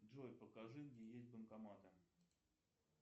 джой покажи где есть банкоматы